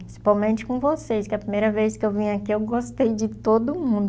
Principalmente com vocês, que a primeira vez que eu vim aqui, eu gostei de todo mundo.